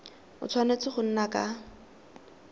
a tshwanetse go nna ka